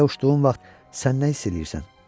Belə uçduğun vaxt sən nə hiss eləyirsən?